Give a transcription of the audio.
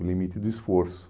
O limite do esforço.